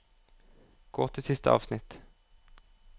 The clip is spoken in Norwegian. Gå til siste avsnitt